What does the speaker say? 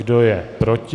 Kdo je proti?